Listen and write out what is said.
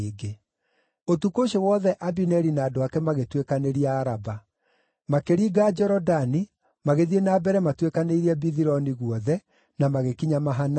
Ũtukũ ũcio wothe Abineri na andũ ake magĩtuĩkanĩria Araba. Makĩringa Jorodani, magĩthiĩ na mbere matuĩkanĩirie Bithironi guothe, na magĩkinya Mahanaimu.